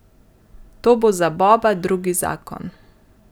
To bo za Boba drugi zakon.